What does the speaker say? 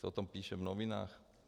Se o tom píše v novinách.